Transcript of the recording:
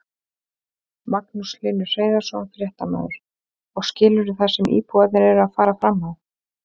Magnús Hlynur Hreiðarsson, fréttamaður: Og skilurðu það sem íbúarnir eru að fara fram á?